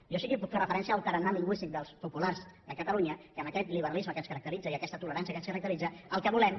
jo sí que puc fer referència al tarannà lingüístic dels populars de catalunya que amb aquest liberalisme que ens caracteritza i amb aquesta tolerància que ens caracteritza el que volem